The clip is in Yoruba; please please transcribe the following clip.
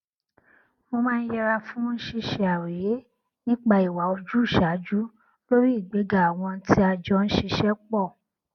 mo máa ń yẹra fún ṣíṣe àròyé nípa ìwà ojúṣàájú lórí ìgbéga àwọn tí a jọ n ṣiṣẹ pọ